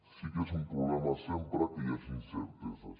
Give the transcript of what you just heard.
sí que és un problema sempre que hi hagi incerteses